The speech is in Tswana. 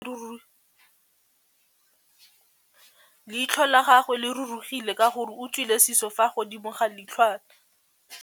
Leitlhô la gagwe le rurugile ka gore o tswile sisô fa godimo ga leitlhwana.